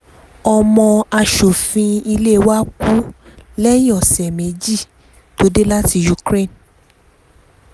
ọmọ asòfin ilé wa kú lẹ́yìn ọ̀sẹ̀ méjì tó dé láti ukraine